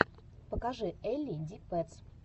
покажи элли ди пэтс